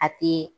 A tɛ